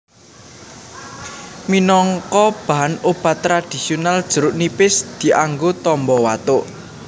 Minangka bahan obat tradhisional jeruk nipis dianggo tamba watuk